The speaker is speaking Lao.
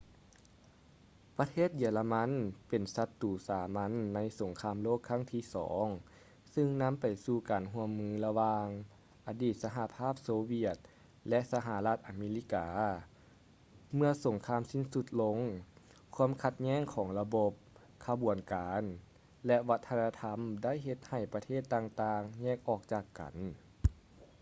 ປະເທດເຢຍລະມັນເປັນສັດຕູສາມັນໃນສົງຄາມໂລກຄັັ້ງທີ 2 ຊຶ່ງນຳໄປສູ່ການຮ່ວມມືລະຫວ່າງ ອະດີດສະຫະພາບໂຊຫວຽດ ແລະ ສະຫະລັດອາເມລິກາ ເມື່ອສົງຄາມສິ້ນສຸດລົງ ຄວາມຂັດແຍ້ງຂອງລະບົບ ຂະບວນການ ແລະ ວັດທະນະທຳໄດ້ເຮັດໃຫ້ປະເທດຕ່າງໆແຍກອອກຈາກກັນ